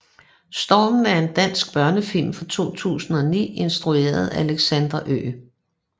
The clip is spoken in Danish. Stormen er en dansk børnefilm fra 2009 instrueret af Alexander Ø